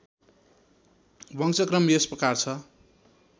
वंशक्रम यस प्रकार छ